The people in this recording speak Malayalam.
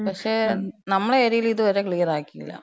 പക്ഷേ, നമ്മളെ ഏര്യേല് ഇത് വരെ ക്ലിയറാക്കീല.